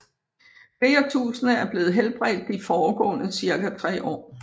Flere tusinde er blevet helbredt de foregående ca 3 år